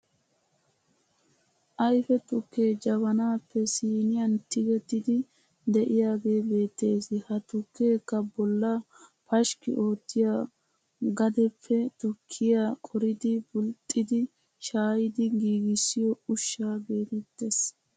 Ayfe tukke jabanaappe siiniyan tigettiiddi de'iyaagee beettes. Ha tukkeekka bollaa pashkki oottiya gadeppe tukkiya qoridi bulxxidi shaayidi giigissiyo ushsha geetettes.